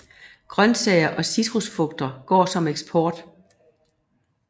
Grønsager og citrusfrugter går som eksport